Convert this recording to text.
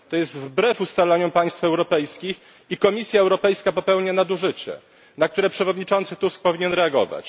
To jest wbrew ustaleniom państw europejskich i Komisja Europejska popełnia nadużycie, na które przewodniczący Tusk powinien reagować.